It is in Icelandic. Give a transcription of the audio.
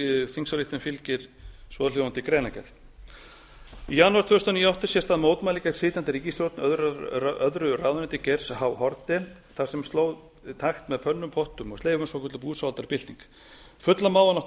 þingsályktun fylgi svohljóðandi greinargerð í janúar tvö þúsund og níu áttu sér stað mótmæli gegn sitjandi ríkisstjórn öðru ráðuneyti geirs h haarde þar sem fólk sló takt með pottum pönnum og sleifum svokölluð búsáhaldabylting fullyrða má að nokkur